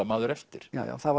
maður eftir já já það